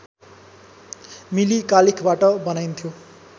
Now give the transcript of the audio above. मिली कालिखबाट बनाइन्थ्यो